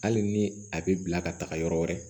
Hali ni a bɛ bila ka taga yɔrɔ wɛrɛ